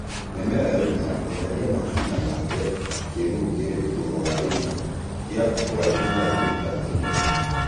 mĩmera yaũmĩra eherĩa mahũtĩ na waake kĩĩrũrũ kĩrĩ ĩgũrũ wa gĩĩto kĩa ũraĩhũ wa mĩta ĩmwe